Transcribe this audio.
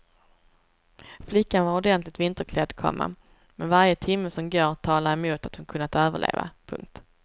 Flickan var ordentligt vinterklädd, komma men varje timme som går talar emot att hon kunnat överleva. punkt